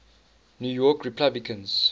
new york republicans